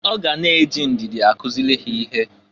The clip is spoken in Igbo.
Ọ ga na-eji ndịdị akụzịlị ha ihe.